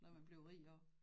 Noget man bliver rig af